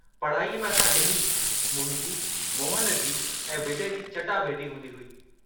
पढ़ाईअ में असां टिन्ही मुंहिंजी, मोहन जी ऐं विजय जी चटाभेटी हूंदी हुई।